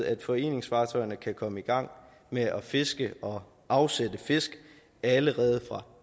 at foreningsfartøjerne kan komme i gang med at fiske og afsætte fisk allerede fra